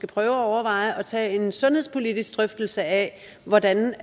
prøve at overveje at tage en sundhedspolitisk drøftelse af hvordan